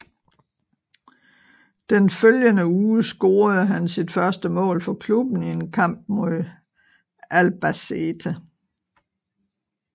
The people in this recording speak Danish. Den følgende uge scorede han sit første mål for klubben i en kamp mod Albacete